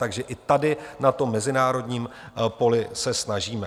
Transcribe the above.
Takže i tady na tom mezinárodním poli se snažíme.